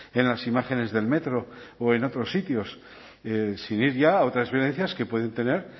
en las imágenes del metro o en otros sitios sin ir ya a otras violencias que pueden tener